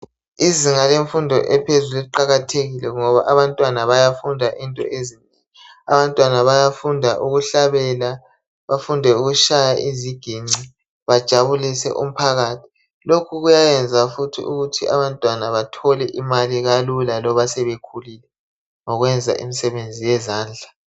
Izinga lemfundo ephezulu liqakathekile ngoba abantwana bayafunda into ezinengi abantwana bayafunda ukuhlabela bafunde ukutshaya izigince bajabulise umphakathi lokhu kuyayenza futhi ukuthi abantwana bethole imali kalula loba sebekhulile ngokwenza imisebenzi yezandla.